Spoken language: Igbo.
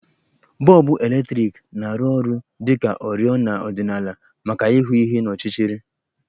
Bọlbụ eletriki na-arụ ọrụ dị ka oriọna ọdịnala maka ịhụ ihe n'ọchịchịrị